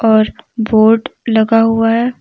और बोर्ड लगा हुआ है।